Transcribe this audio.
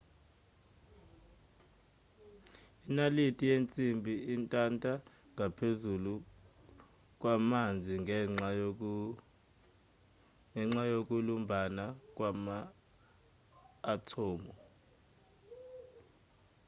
inalithi yensimbi intanta ngaphezu kwamanzi ngenxa yokulumbana kwama-athomu